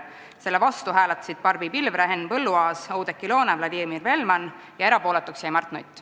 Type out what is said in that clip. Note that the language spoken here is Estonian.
Selle vastu hääletasid Barbi Pilvre, Henn Põlluaas, Oudekki Loone ja Vladimir Velman ning erapooletuks jäi Mart Nutt.